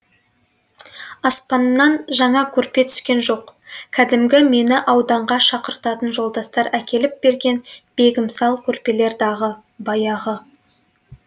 аспаннан жаңа көрпе түскен жоқ кәдімгі мені ауданға шақыртатын жолдастар әкеліп берген бегімсал көрпелер дағы баяғы